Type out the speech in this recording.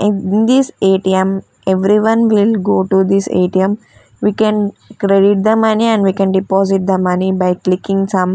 in this A_T_M everyone will go to this A_T_M we can credit the money and we can deposit the money by clicking some--